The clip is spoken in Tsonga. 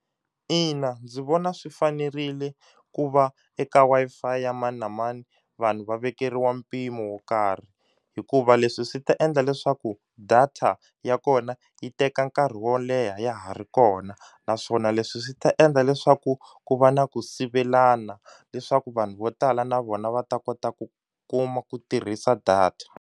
Ina, ndzi vona swi fanerile ku va eka Wi-Fi ya mani na mani vanhu va vekeriwa mpimo wo karhi hikuva leswi swi ta endla leswaku data ya kona yi teka nkarhi wo leha ya ha ri kona naswona leswi swi ta endla leswaku ku va na ku sivelana leswaku vanhu vo tala na vona va ta kota ku kuma ku tirhisa data.